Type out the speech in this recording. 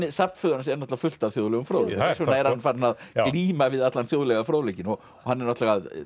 safn föður hans er fullt af þjóðlegum fróðleik þarna er hann farinn að glíma við allan þjóðlega fróðleikinn og hann er að